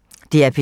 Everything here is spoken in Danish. DR P3